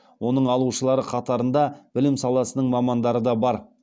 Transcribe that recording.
оның алушылар қатарында білім саласының мамандары да бар